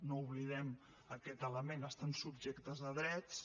no oblidem aquest element estan subjectes a drets